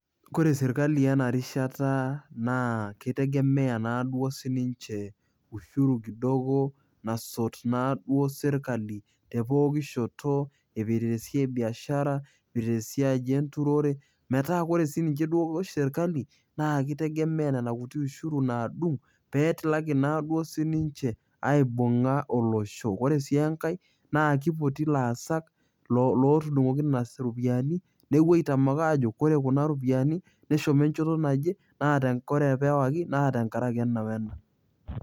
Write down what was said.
kore sirkali ena rishata naa kitegemea naduo sininche ushuru kidogo nasot naduo sirkali te poki shoto ipirita esiai e biashara ipirita esiai enturore metaa kore sininche duo sirkali naa kitegemea nena kuti ushuru nadung petilaki naduo sininche aibung'a olosho ore sii enkae naa kipoti ilaasak lotudung'oki inas iropiyiani nekuo aitamak ajo kore kuna ropiyiani neshomo enchoto najie naa ore pewaki naa tenkaraki ena wena.